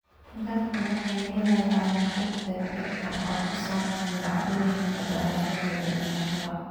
Dadku waxay helayaan xog degdeg ah oo ku saabsan dhacdooyinka dhalashada iyo dhimashada.